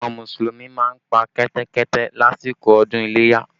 Àwọn Mùsùlùmí máa ń pa Kẹ́tẹ́kẹ́tẹ́ lásìkò ọdún iléyá